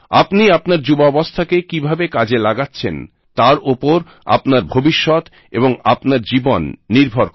আপনি আপনার যুবাবস্থাকে কিভাবে কাজে লাগাচ্ছেন তার ওপর আপনার ভবিষ্যৎ এবং আপনার জীবন নির্ভর করে